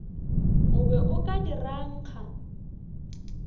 o be o ka dirangka